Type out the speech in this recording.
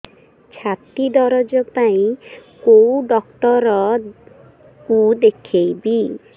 ଛାତି ଦରଜ ପାଇଁ କୋଉ ଡକ୍ଟର କୁ ଦେଖେଇବି